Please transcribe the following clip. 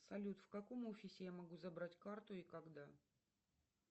салют в каком офисе я могу забрать карту и когда